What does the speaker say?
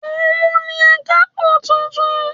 Òun ni akápò tuntun